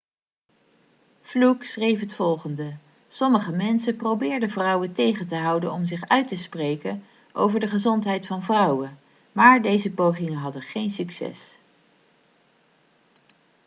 fluke schreef het volgende sommige mensen probeerden vrouwen tegen te houden om zich uit te spreken over de gezondheid van vrouwen maar deze pogingen hadden geen succes